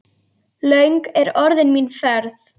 Löng er orðin mín ferð.